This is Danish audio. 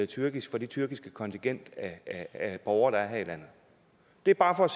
tyrkisk for det tyrkiske kontingent af borgere der er her i landet det er bare for at